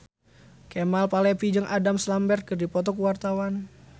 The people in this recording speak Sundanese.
Kemal Palevi jeung Adam Lambert keur dipoto ku wartawan